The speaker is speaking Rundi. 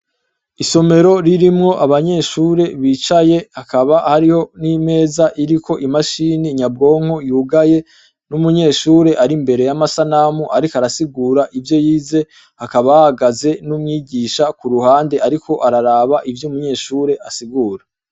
Isomero ririmwo abanyeshure bicaye bakaba hariho nimeza iriko imashini nyambwonko yugaye numunyeshure ari imbere yamasanamu ariko arasigura ivyo yize hakaba hahagaze numwigisha kuruhande ariko araraba ivyo umunyeshure asigura